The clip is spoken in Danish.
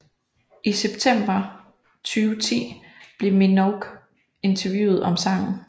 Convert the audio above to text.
I september 2010 blev Minogue interviewet om sangen